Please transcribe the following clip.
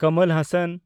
Kamal Hossain